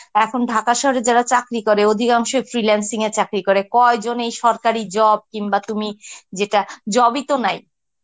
এখন ঢাকা শহরে যারা চাকরি করে অধিকাংশই freelancing এ চাকরি করে, কয়জন এই সরকারি job কিংবা তুমি যেটা job ই তো নাই.